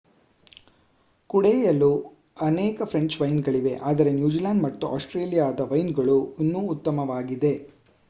ಕುಡಿಯಲು ಅನೇಕ ಫ್ರೆಂಚ್ ವೈನ್ಗಳಿವೆ ಆದರೆ ನ್ಯೂಜಿಲೆಂಡ್ ಮತ್ತು ಆಸ್ಟ್ರೇಲಿಯಾದ ವೈನ್ಗಳು ಇನ್ನೂ ಉತ್ತಮವಾಗಿದೆ